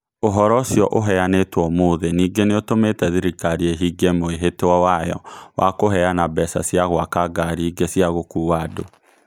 Ũhoro ũcio ũheanĩtwo ũmũthĩ ningĩ nĩ ũtũmĩte thirikari ĩhingie mwĩhĩtwa wayo wa kũheana mbeca cia gwaka ngaari ingĩ cia gũkuua andũ